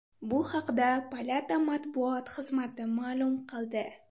Bu haqda palata matbuot xizmati ma’lum qildi .